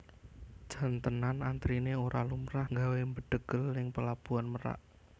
Jan tenan antrine ora lumrah nggawe mbedhegel ning Pelabuhan Merak